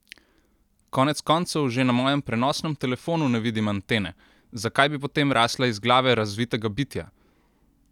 Konec koncev, že na mojem prenosnem telefonu ne vidim antene, zakaj bi potem rasla iz glave razvitega bitja?